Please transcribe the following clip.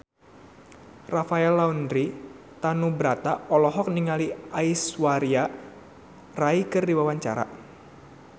Rafael Landry Tanubrata olohok ningali Aishwarya Rai keur diwawancara